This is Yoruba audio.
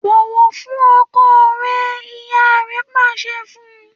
‘Bò̩wò̩ fún o̩ko̩ re̩!’. ìyá re̩ pàs̩e̩ fun